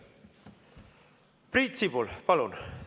Priit Sibul, palun!